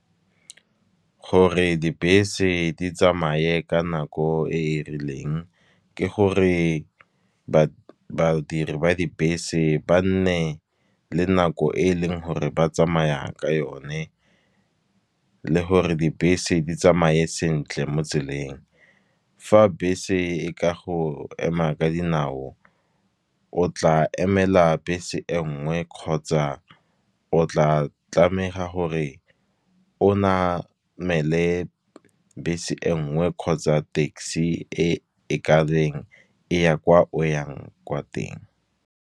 Gore dibese di tsamaye ka nako e e rileng, ke gore badiri ba dibese ba nne le nako e e leng gore ba tsamaya ka yone. Le gore dibese di tsamaye sentle mo tseleng, fa bese e ka go ema ka dinao o tla emela bese engwe. Kgotsa o tla tlameha gore onamele bese e nngwe kgotsa taxi e ka beng e ya kwa o yang kwa teng.